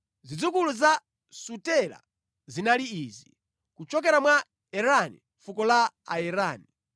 Zidzukulu za Sutela zinali izi: kuchokera mwa Erani, fuko la Aerani.